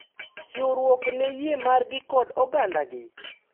Chiwruok ne yie margi kod ogandagi.